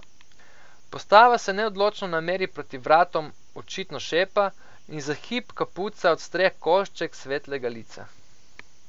Postava se neodločno nameri proti vratom, očitno šepa, in za hip kapuca odstre košček svetlega lica.